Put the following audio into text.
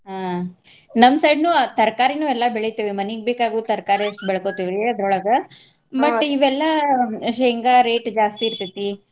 ಹಾ ನಮ್ಮ್ side ನು ತರಕಾರಿನು ಎಲ್ಲಾ ಬೆಳಿತೇವಿ ಮನಿಗ್ ಬೇಕಾಗೊ ತರಕಾರಿ ಅಷ್ಟ್ ಬೆಳಕೋತೆವ್ರಿ ಅದ್ರೋಳಗ. ಇವೆಲ್ಲಾ ಶೇಂಗಾ rate ಜಾಸ್ತಿ ಇರ್ತೈತಿ.